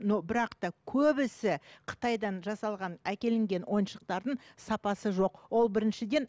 но бірақ та көбісі қытайдан жасалған әкелінген ойыншықтардың сапасы жоқ ол біріншіден